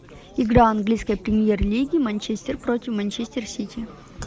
игра английской премьер лиги манчестер против манчестер сити